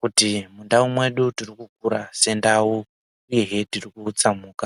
kuti mundau medu tirikukurawo sendau uyewo tiri kutsamhuka.